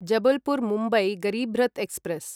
Jabalpur Mumbai Garib Rath express